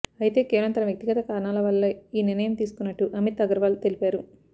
అయితే కేవలం తన వ్యక్తిగత కారణాల వల్లే ఈ నిర్ణయం తీసుకున్నట్టు అమిత్ అగర్వాల్ తెలిపారు